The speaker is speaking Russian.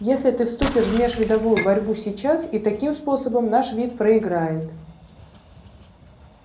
если ты вступишь в межвидовую борьбу сейчас и таким способом наш вид проиграет